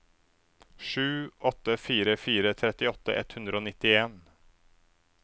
sju åtte fire fire trettiåtte ett hundre og nittien